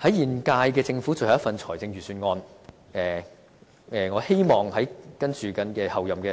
在現屆政府最後一份預算案中，我希望候任